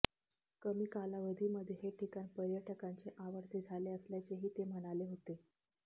कमी कालावधीमध्ये हे ठिकाण पर्यटकांचे आवडते झाले असल्याचेही ते म्हणाले होते